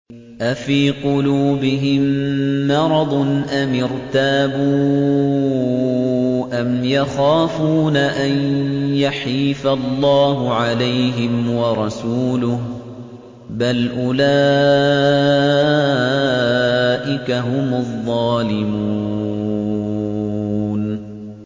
أَفِي قُلُوبِهِم مَّرَضٌ أَمِ ارْتَابُوا أَمْ يَخَافُونَ أَن يَحِيفَ اللَّهُ عَلَيْهِمْ وَرَسُولُهُ ۚ بَلْ أُولَٰئِكَ هُمُ الظَّالِمُونَ